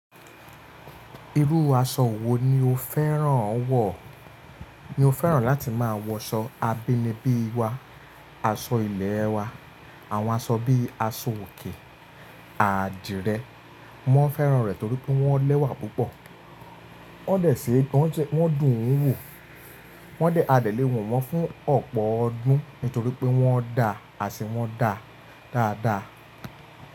Irú aṣọ wo ni o fẹ́ràn wọ̀? Mo fẹ́ràn láti máa wọ aṣọ abínibí wa, aṣọ ilẹ̀ wa. Àwọn aṣọ bíi aṣọ òkè, àdìrẹ, mọ́ n fẹ́ràn rẹ̀ torí pé wọ́n lẹ́wà púpọ̀. Wọ́n dẹ̀ ṣe gan, wọ́n dùn ún wò. Wọ́n dẹ̀, adé le wò wọ́n fún ọ̀pọ̀ ọdún nítorí pé wọ́n da às in wọ́n da dáadáa.